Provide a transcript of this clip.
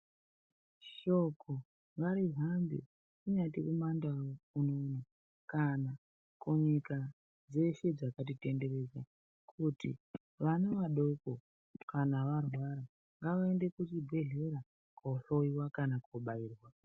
Shoko ngarihambe, kunyati kumandau unono kana kunyika dzeshe dzakatitenderedza, kuti vana vadoko kana varwara, ngavaende kuchibhedhlera koohloiwa kana koobaiwa.